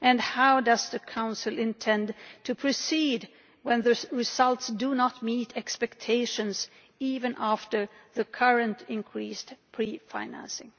How does the Council intend to proceed where those results do not meet expectations, even after the current increased pre financing?